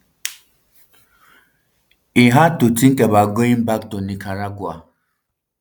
um e hard to tink about going back to nicaragua